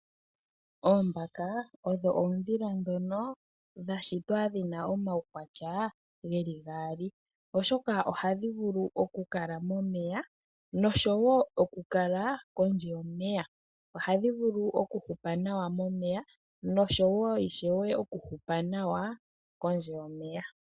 Oombaka odho oondhila ndhono dha shitwa dhi na omaukwatya ge li gaali. Ohadhi vulu okukala momeya nosho woo kondje yomeya. Ohadhi vulu okuhupa nawa momeya nosho woo okuhupa nawa kondje yomeya.